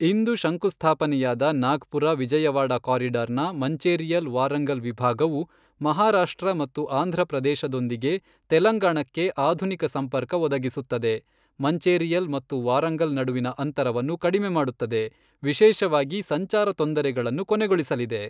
ಇಂದು ಶಂಕುಸ್ಥಾಪನೆಯಾದ ನಾಗ್ಪುರ ವಿಜಯವಾಡ ಕಾರಿಡಾರ್ನ ಮಂಚೇರಿಯಲ್ ವಾರಂಗಲ್ ವಿಭಾಗವು ಮಹಾರಾಷ್ಟ್ರ ಮತ್ತು ಆಂಧ್ರ ಪ್ರದೇಶದೊಂದಿಗೆ ತೆಲಂಗಾಣಕ್ಕೆ ಆಧುನಿಕ ಸಂಪರ್ಕ ಒದಗಿಸುತ್ತದೆ, ಮಂಚೇರಿಯಲ್ ಮತ್ತು ವಾರಂಗಲ್ ನಡುವಿನ ಅಂತರವನ್ನು ಕಡಿಮೆ ಮಾಡುತ್ತದೆ, ವಿಶೇಷವಾಗಿ ಸಂಚಾರ ತೊಂದರೆಗಳನ್ನು ಕೊನೆಗೊಳಿಸಲಿದೆ.